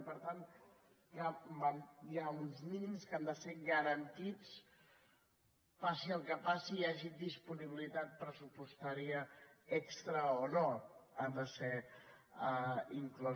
i per tant hi ha uns mínims que han de ser garantits passi el que passi hi hagi disponibilitat pressupostària extra o no hi ha de ser inclòs